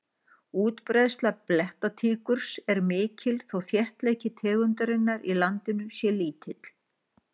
útbreiðsla blettatígurs er mikil þó þéttleiki tegundarinnar í landinu sé lítill